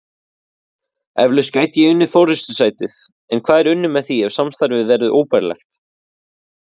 Eflaust gæti ég unnið forystusætið en hvað er unnið með því ef samstarfið verður óbærilegt?